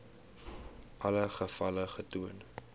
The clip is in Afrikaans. alle gevalle getoon